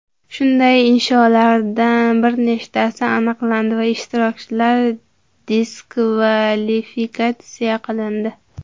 Shunday insholardan bir nechtasi aniqlandi va ishtirokchilar diskvalifikatsiya qilindi.